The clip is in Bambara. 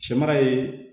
Cɛmara ye